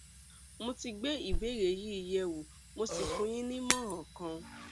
mo ti gbé ìbéèrè yín yẹwò mo sì fún yín ní ìmọràn kan